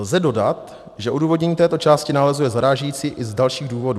Lze dodat, že odůvodnění této části nálezu je zarážející i z dalších důvodů.